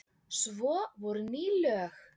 Svo voru ný lög.